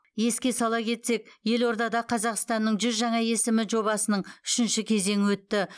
еске сала кетсек елордада қазақстанның жүз жаңа есімі жобасының үшінші кезеңі өтті